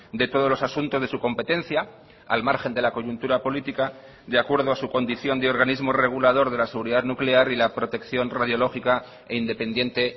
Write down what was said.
de todos los asuntos de su competencia al margen de la coyuntura política de acuerdo a su condición de organismo regulador de la seguridad nuclear y la protección radiológica e independiente